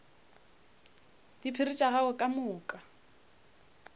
diphiri tša gagwe ka moka